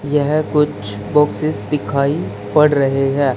यह कुछ बॉक्सेस दिखाई पड़ रहे हैं।